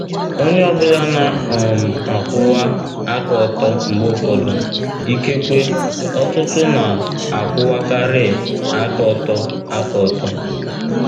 ONYE ọ bụla na um - akwụwa aka ọtọ mgbe ụfọdụ; ikekwe, ọtụtụ na - akwụwakarị aka ọtọ. aka ọtọ.